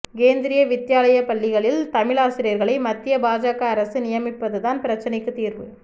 கேந்திரிய வித்யாலயா பள்ளிகளில் தமிழாசிரியர்களை மத்திய பாஜக அரசு நியமிப்பதுதான் பிரச்சனைக்கு தீர்வு